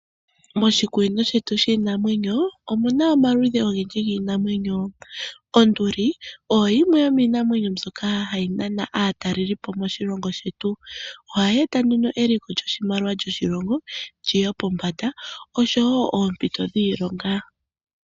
Moshikunino shetu shiinamwenyo omu na omaludhi ogendji giinamwenyo. Onduli oyo yimwe yomiinamwenyo mbyoka hayi nana aatalelipo moshilongo shetu. ohayi eta nduno eliko lyoshimaliwa lyoshilongo li ye pombanda osho wo oompito dhiilonga.